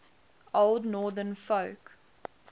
old northern folk